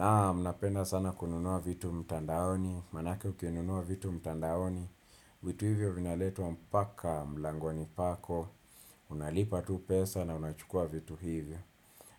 Naam napenda sana kununua vitu mtandaoni, manake ukinunua vitu mtandaoni, vitu hivyo vinaletwa mpaka mlangoni pako, unalipa tu pesa na unachukua vitu hivyo.